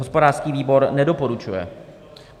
Hospodářský výbor nedoporučuje.